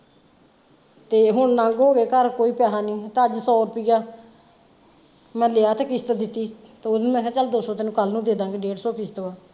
ਤੇ ਹੁਣ ਨੰਗ ਹੋਗੇ ਘਰ ਕੋਈ ਪੈਸੇ ਨਹੀਂ ਤੇ ਅੱਜ ਸੋ ਰੁਪਇਆ ਮੈਂ ਲਿਆ ਤੇ ਕਿਸ਼ਤ ਦਿੱਤੀ ਤੇ ਓਹਨੂੰ ਮੈਂ ਕਿਹਾ ਚਲ ਦੋ ਸੋ ਤੈਨੂੰ ਕੱਲ ਨੂੰ ਦੇਦਾਗੇ ਡੇਢ ਸੋ ਕਿਸ਼ਤ ਵਾ।